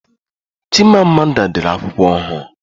Chima Amanda dere akwụkwọ ohuru